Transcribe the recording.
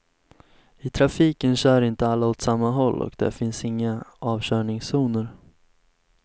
I trafiken kör inte alla åt samma håll och där finns inga avkörningszoner.